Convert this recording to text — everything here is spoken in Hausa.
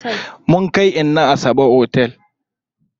Mun kai inna Asabe otel.